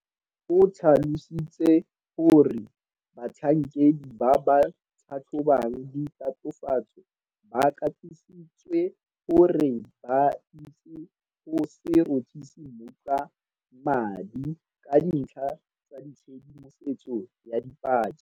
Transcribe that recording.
O tlhalositse gore batlhankedi ba ba tlhatlhobang ditatofatso ba katisitswe gore ba itse go se rothise mmutla madi ka dintlha tsa tshedimosetso ya dipaki.